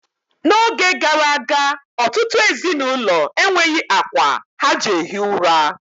N'oge gara aga, ọtụtụ ezinụlọ enweghi akwa ha ji ehi ųra.